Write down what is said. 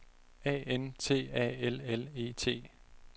A N T A L L E T